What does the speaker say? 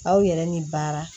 Aw yɛrɛ ni baara